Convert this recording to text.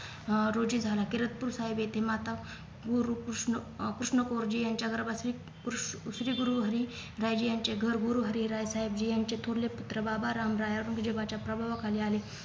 अं रोजी झाला तिराकपूर साहेब येथे माता गुरुकृष्ण अं कृष्णाकोजी यांच्या गर्भासीत कृश श्रीगुरुहरी रायजी यांचे घर गुरुहरी राय साहेबजी यांचे थोरले पुत्र बाबाराम राय औरंगजेबाच्या प्रभावाखाली आले